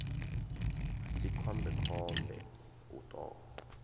si khombe khombe u ṱo